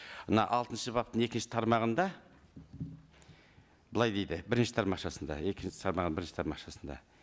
мына алтыншы баптың екінші тармағында былай дейді бірінші тармақшасында екінші тармағының бірінші тармақшасында